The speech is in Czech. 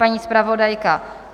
Paní zpravodajka?